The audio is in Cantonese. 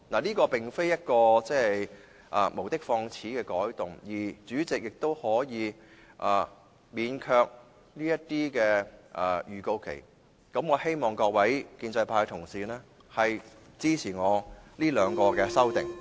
這並非無的放矢的改動，而主席亦可以免卻這些預告期，我希望各位建制派同事支持我這兩項修正案。